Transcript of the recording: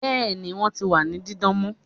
bẹẹni, wọn ti wa ni didan mọ